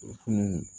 O fini